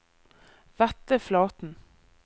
Vetle Flaten